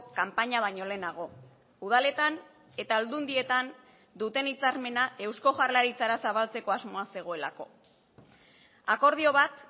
kanpaina baino lehenago udaletan eta aldundietan duten hitzarmena eusko jaurlaritzara zabaltzeko asmoa zegoelako akordio bat